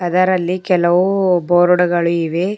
ಅದರಲ್ಲಿ ಕೆಲವು ಬೋರ್ಡ್ ಗಳು ಇವೆ.